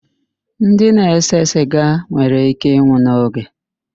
Ndị na-ese siga nwere íké ịnwụ n'oge.